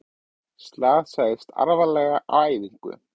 Slasaðist alvarlega á æfingu